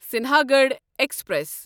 Sinhagad express